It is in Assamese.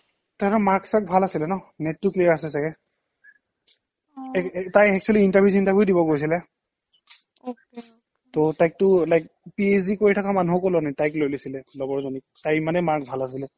তহতৰ mark চাৰ্ক ভাল আছিলে ন NET টো clear আছে ছাগে অ এক এক তাই actually interview চিন্টাৰভিও দিব গৈছিলে তাইকটো like PhD কৰি থকা মানুহকো লোৱা নাই তাইক লৈ লৈছিলে লগৰ জনীক তাইৰ ইমানে marks ভাল আছিলে